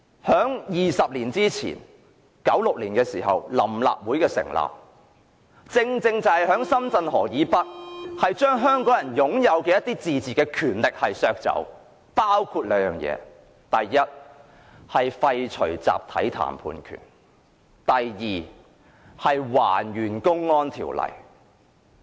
在20年前的1996年，臨立會成立，正正就在深圳河以北，將香港人的一些自治權力削走，包括兩件事：第一，廢除集體談判權；第二，還原《公安條例》。